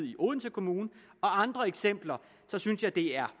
i odense kommune og andre eksempler der synes jeg der